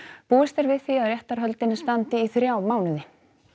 búist er við að réttarhöldin standi í þrjá mánuði